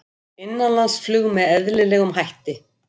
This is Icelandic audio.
Innanlandsflug með eðlilegum hætti